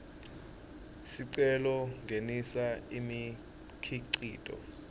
sicelo kungenisa imikhicito